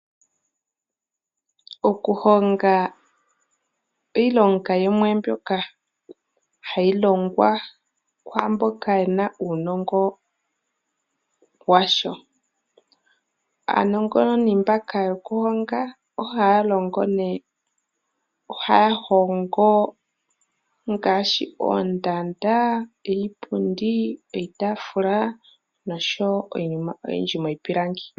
Okuhonga iilonga yimwe mbyoka ahayi longwa kwaa mboka ye na uunongo washo. Aanongononi mbaka yokuhonga ohaya hongo ngaashi oondanda, iipundi, iitaafula nosho wo iinima oyindji miipilangi.